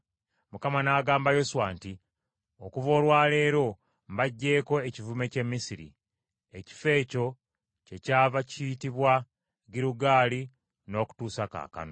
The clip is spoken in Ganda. Mukama n’agamba Yoswa nti, “Okuva olwa leero mbaggyeeko ekivume ky’e Misiri.” Ekifo ekyo kyekyava kiyitibwa Girugaali n’okutuusa kaakano.